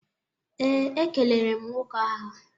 Ee, e kelere m nwoke ahụ.